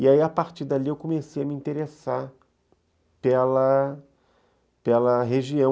E aí, a partir dali, eu comecei a me interessar pela pela região.